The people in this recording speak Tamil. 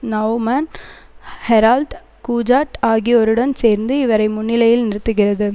நெளவ்மன் ஹெரால்ட் கூஜாட் ஆகியோருடன் சேர்ந்து இவரை முன்னிலையில் நிறுத்துகிறது